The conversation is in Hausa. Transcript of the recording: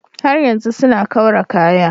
Har yanzu suna kaura kaya.